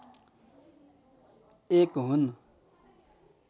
एक हुन्